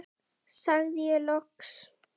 sagði ég loks.